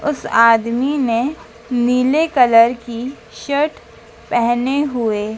उस आदमी ने नीले कलर की शर्ट पहने हुए--